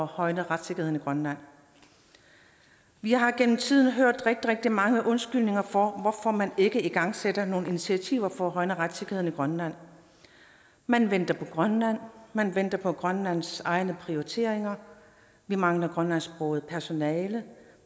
at højne retssikkerheden i grønland vi har gennem tiden hørt rigtig rigtig mange undskyldninger for hvorfor man ikke igangsætter nogle initiativer for at højne retssikkerheden i grønland man venter på grønland man venter på grønlands egne prioriteringer vi mangler grønlandsksproget personale